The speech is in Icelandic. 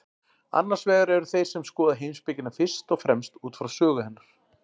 Annars vegar eru þeir sem skoða heimspekina fyrst og fremst út frá sögu hennar.